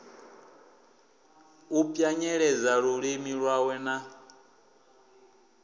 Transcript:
u pwanyeledza lulimi lwawe na